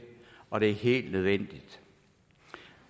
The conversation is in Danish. og det er helt nødvendigt